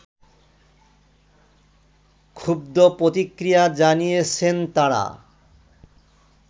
ক্ষুব্দ প্রতিক্রিয়া জানিয়েছেন তারা